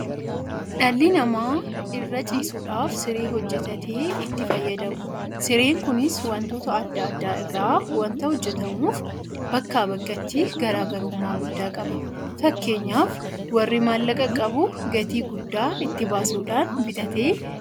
Dhalli namaa irra ciisuudhaaf siree hojjetatee itti fayyadama. Sireen kunis waantota adda addaa irraa waanta hojjetamuuf bakkaa bakkatti garaa garummaa guddaa qaba. Fakkeenyaaf warri maallaqa qabu gatii guddaa itti baasuudhaan bitatee irra ciisa.